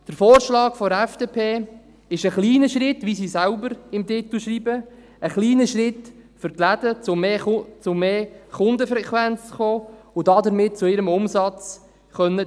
Der Vorschlag der FDP ist ein kleiner Schritt, wie sie selbst im Titel schreibt – ein kleiner Schritt für die Läden, um zu mehr Kundenfrequenz zu kommen und damit ihren Umsatz steigern zu können.